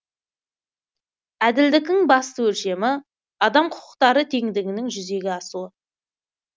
әділдіктің басты өлшемі адам құқықтары теңдігінің жүзеге асуы